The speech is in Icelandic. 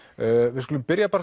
við skulum byrja bara